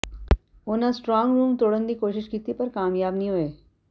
ਉਨ੍ਹਾਂ strong room ਤੋੜਨ ਦੀ ਕੋਸ਼ਿਸ਼ ਕੀਤੀ ਪਰ ਕਾਮਯਾਬ ਨਹੀਂ ਹੋਏ